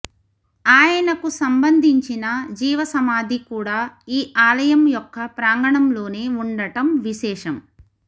ఆయనకు సంబంధించిన జీవసమాధి కూడా ఈ ఆలయం యొక్క ప్రాంగణంలోనే వుండటం విశేషం